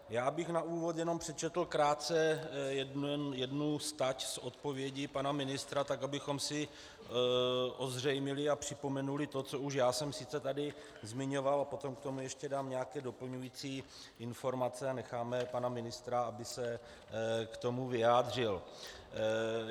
Já bych na úvod jenom přečetl krátce jednu stať z odpovědi pana ministra, tak abychom si ozřejmili a připomenuli to, co už já jsem sice tady zmiňoval, a potom k tomu ještě dám nějaké doplňující informace a necháme pana ministra, aby se k tomu vyjádřil.